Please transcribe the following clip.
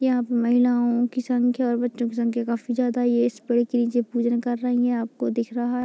यहाँ पर महिलाओ की संख्या और बच्चो की संख्या काफी ज्यादा है ये स्प्रे की नीचे पूजा कर रही है।